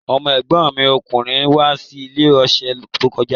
Ọmọ́ ẹ̀gbọ́n mi lọ́kùnrin wá ní ọ̀sẹ̀ tó kọjá